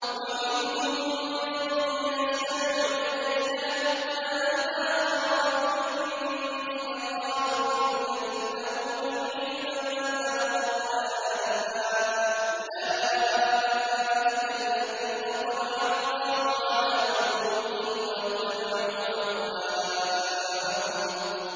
وَمِنْهُم مَّن يَسْتَمِعُ إِلَيْكَ حَتَّىٰ إِذَا خَرَجُوا مِنْ عِندِكَ قَالُوا لِلَّذِينَ أُوتُوا الْعِلْمَ مَاذَا قَالَ آنِفًا ۚ أُولَٰئِكَ الَّذِينَ طَبَعَ اللَّهُ عَلَىٰ قُلُوبِهِمْ وَاتَّبَعُوا أَهْوَاءَهُمْ